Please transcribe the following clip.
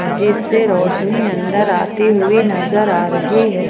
जिससे रोशनी अंदर आती हुई नजर आ रही है।